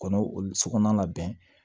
Kɔnɔw olu sokɔnɔna labɛn